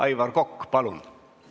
Aivar Kokk, palun!